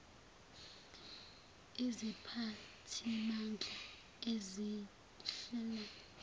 iziphathimandla ezihl elayo